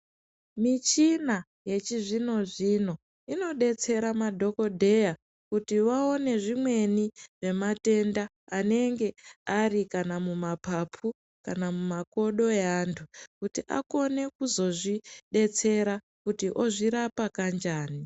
Michina yechizvino zvino inodetsere madhokoteya kuti vaone zvimweni nematenda anenge ari kana muma papu kana mumakodo aeantu kuti akone kuzozvidetsera kuti ozvirapa kanjani.